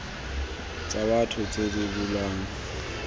tsa batho tse di bulwang